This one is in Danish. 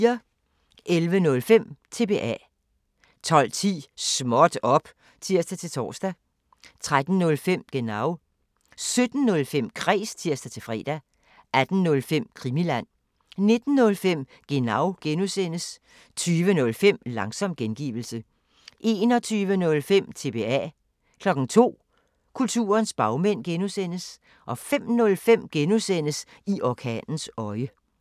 11:05: TBA 12:10: Småt op! (tir-tor) 13:05: Genau 17:05: Kræs (tir-fre) 18:05: Krimiland 19:05: Genau (G) 20:05: Langsom gengivelse 21:05: TBA 02:00: Kulturens bagmænd (G) 05:05: I orkanens øje (G)